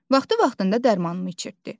Vaxtı vaxtında dərmanımı içirtdi.